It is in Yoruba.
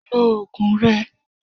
Lo oògùn rẹ!